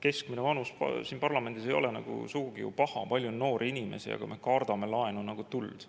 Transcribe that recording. Keskmine vanus siin parlamendis ei ole ju sugugi paha, palju on noori inimesi, aga me kardame laenu nagu tuld.